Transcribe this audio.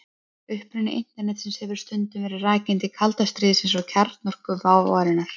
Uppruni Internetsins hefur stundum verið rakinn til kalda stríðsins og kjarnorkuvárinnar.